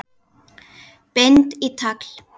Bind í tagl.